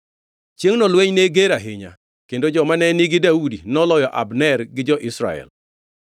Chiengʼno lweny ne ger ahinya, kendo joma ne nigi Daudi noloyo Abner gi jo-Israel.